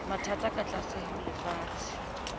mathang ka tlase ho lefatshe